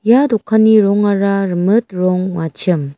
ia dokani rongara rimit rong ong·achim.